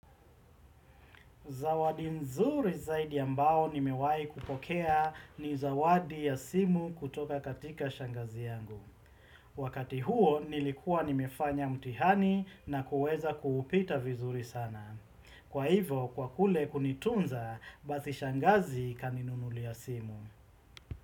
Zawadi nzuri zaidi ambao nimewahi kupokea ni zawadi ya simu kutoka katika shangazi yangu. Wakati huo nilikuwa nimefanya mtihani na kuweza kuupita vizuri sana. Kwa hivo kwa kule kunitunza basi shangazi kaninunulia simu.